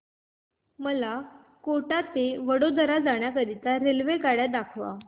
मला कोटा ते वडोदरा जाण्या करीता रेल्वेगाड्या दाखवा